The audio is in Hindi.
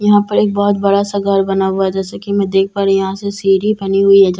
यहाँ पर एक बहुत बड़ा सा घर बना हुआ है जैसे की मैं देख पा रही हूँ यहाँ से सीढ़ी बनी हुई है जैसे की मैं देख --